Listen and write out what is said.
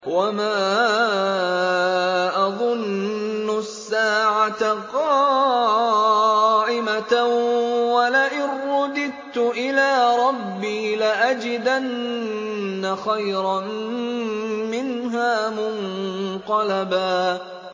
وَمَا أَظُنُّ السَّاعَةَ قَائِمَةً وَلَئِن رُّدِدتُّ إِلَىٰ رَبِّي لَأَجِدَنَّ خَيْرًا مِّنْهَا مُنقَلَبًا